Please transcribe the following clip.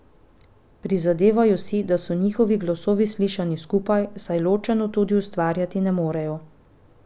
Prizadevajo si, da so njihovi glasovi slišani skupaj, saj ločeno tudi ustvarjati ne morejo.